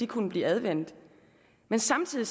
kunne blive anvendt men samtidig